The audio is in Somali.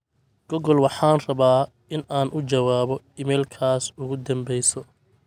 google waxaan rabaa in aan u jawaabo iimaylkaas ugu dhambeyso